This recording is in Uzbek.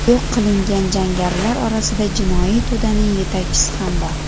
Yo‘q qilingan jangarilar orasida jinoiy to‘daning yetakchisi ham bor.